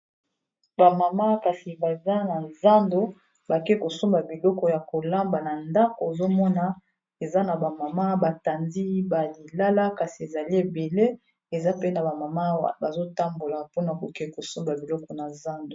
bamama kasi baza na zando bake kosomba biloko ya kolamba na ndako ezomona eza na bamama batandi balilala kasi ezali ebele eza pe na bamama bazotambola mpona koke kosomba biloko na zando